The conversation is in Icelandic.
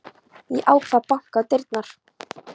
Ég ákvað að banka á dyrnar.